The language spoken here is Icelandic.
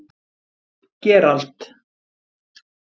Gerald